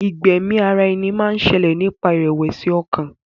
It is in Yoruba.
Ìgbẹ́mi ara ẹni máa ń ṣẹlẹ̀ nípasẹ̀ ìrẹ̀wẹ̀sì ọkàn.